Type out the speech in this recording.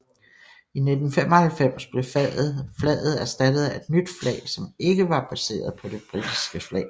I 1995 blev flaget erstattet af et nyt flag som ikke var baseret på det britiske flag